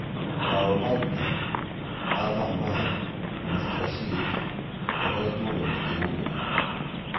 Paul Pogda, Anthor Mart, Mike Rashid - tũkoretwo na mũtino moru.